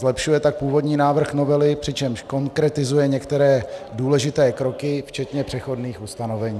Zlepšuje tak původní návrh novely, přičemž konkretizuje některé důležité kroky včetně přechodných ustanovení.